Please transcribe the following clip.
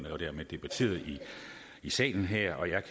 og dermed debatteret i salen her og jeg